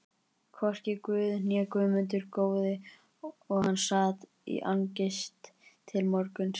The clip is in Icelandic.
Hvorki Guð né Guðmundur góði og hann sat í angist til morguns.